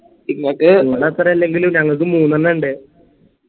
നിങ്ങളെ അത്ര ഇല്ലെങ്കിലും ഞങ്ങക്ക് മൂന്നെണ്ണ്ട്